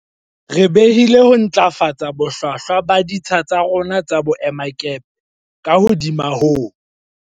Re behile ho ntlafatsa bohlwahlwa ba ditsha tsa rona tsa boemakepe ka hodimo ho